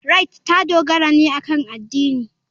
Rite ta dogara ne akan addini.